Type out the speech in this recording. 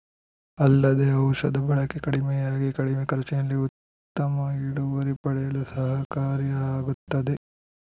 ಅಲ್ಲದೆ ಔಷಧ ಬಳಕೆ ಕಡಿಮೆಯಾಗಿ ಕಡಿಮೆ ಖರ್ಚಿನಲ್ಲಿ ಉತ್ತಮ ಇಳುವರಿ ಪಡೆಯಲು ಸಹಕಾರಿ ಆಗುತ್ತದೆ